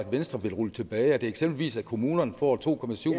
venstre vil rulle tilbage er det eksempelvis at kommunerne får to